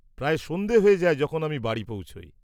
-প্রায় সন্ধ্যে হয়ে যায় যখন আমি বাড়ি পৌঁছই।